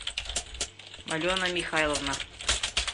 алена михайловна